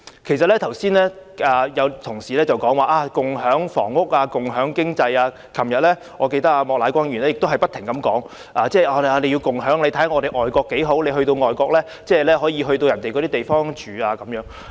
剛才有同事談及共享房屋、共享經濟，我記得莫乃光議員昨天也不斷提及共享，並以外國的情況為例，指旅客可以入住當地的民宅。